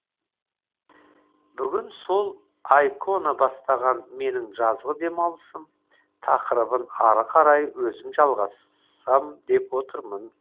бүгін сол айкона бастаған менің жазғы демалысым тақырыбын ары қарай өзім жалғасам деп отырмын